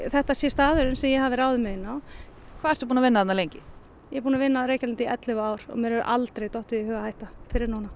þetta sé staðurinn sem ég hafi ráðið mig inn á hvað ertu búin að vinna þarna lengi ég er búin að vinna á Reykjalundi í ellefu ár og mér hefur aldrei dottið í hug að hætta fyrr en núna